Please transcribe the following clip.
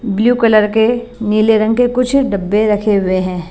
Blue colour के नीले रंग के कुछ डब्बे रखे हुए हैं।